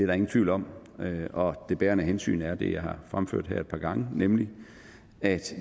der ingen tvivl om og det bærende hensyn er det jeg har fremført her et par gange nemlig at